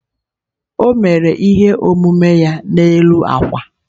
O mere ihe omume ya n'elu akwa.